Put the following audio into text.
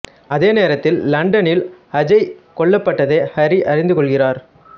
அதே நேரத்தில் லண்டனில் அஜய் கொல்லப்பட்டதை ஹரி அறிந்து கொள்கிறார்